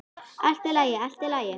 Allt í lagi, allt í lagi.